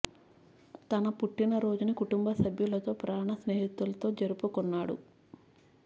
తన పుట్టిన రోజుని కుటుంబ సభ్యులతో ప్రాణ స్నేహితులతో జరుపుకున్నాడు